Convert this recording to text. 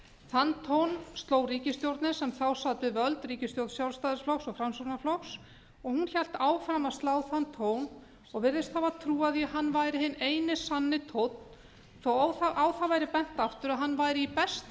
þann tón sló ríkisstjórnin sem þá sat við völd ríkisstjórn sjálfstæðisflokks og framsóknarflokks og hún hélt áfram að slá þann tón og virðist hafa trúað því að hann væri hinn eini sanni tónn þó á það væri bent aftur að hann væri í besta